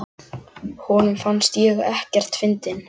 Honum fannst ég ekkert fyndin.